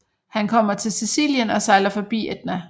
Han kommer til Sicilien og sejler forbi Etna